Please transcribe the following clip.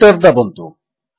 enter ଦାବନ୍ତୁ